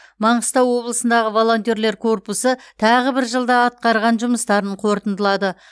маңғыстау облысындағы волонтерлер корпусы тобы бір жылда атқарған жұмыстарын қорытындылады